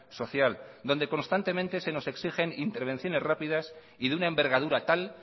social donde constantemente se nos exigen intervenciones rápidas y de una envergadura tal